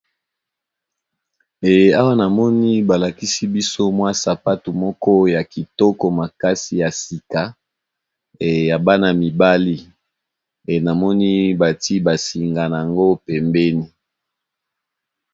Awa namoni balakisi biso sapato moko ya kitoko pe ya sika ya Bana mibali namoni natiye ba singa pembeni .